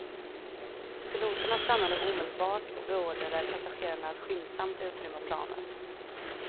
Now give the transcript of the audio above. Piloterna stannade omedelbart och beordrade passagerarna att skyndsamt utrymma planet.